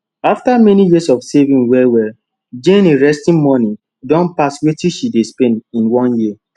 after many years of saving wellwell jane resting money don pass wetin she dey spend in one year